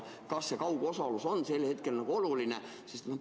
Kas see kaugosalus on ikka praegu oluline?